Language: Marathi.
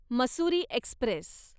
मसुरी एक्स्प्रेस